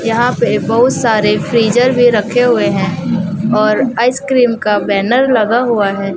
यहाॅं पे बहोत सारे फ्रीजर भी रखे हुए हैं और आईस्क्रीम का बॅनर लगा हुआ हैं।